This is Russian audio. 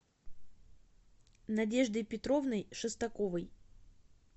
надеждой петровной шестаковой